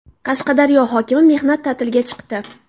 Qashqadaryo hokimi mehnat ta’tiliga chiqdi.